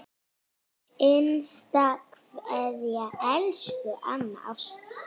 HINSTA KVEÐJA Elsku amma Ásta.